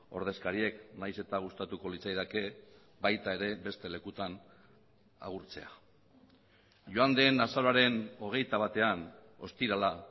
ordezkariek nahiz eta gustatuko litzaidake baita ere beste lekutan agurtzea joan den azaroaren hogeita batean ostirala